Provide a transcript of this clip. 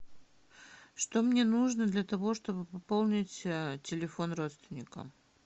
что мне нужно для того чтобы пополнить телефон родственника